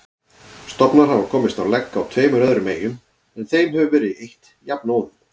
Stofnar hafa komist á legg á tveimur öðrum eyjum en þeim hefur verið eytt jafnóðum.